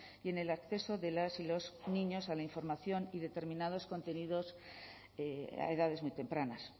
y en el acceso de las y los niños a la información y determinados contenidos a edades muy tempranas